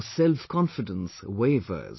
Our self confidence wavers